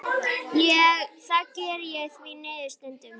Það geri ég því miður stundum.